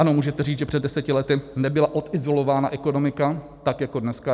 Ano, můžete říct, že před deseti lety nebyla odizolována ekonomika tak jako dneska.